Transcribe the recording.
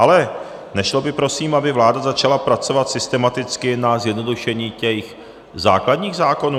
Ale nešlo by prosím, aby vláda začala pracovat systematicky na zjednodušení těch základních zákonů?